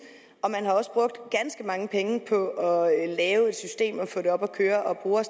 og man har også brugt ganske mange penge på at lave et system og på at få det op at køre og bruger